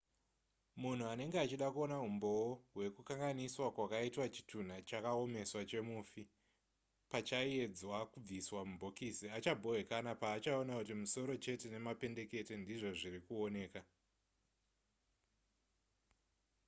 munhu anenge achida kuona umboo hwekukanganiswa kwakaitwa chitunha chakaomeswa chemufi pachaiedzwa kubviswa mubhokisi achabhowekana paachaona kuti musoro chete nemapendekete ndizvo zviri kuoneka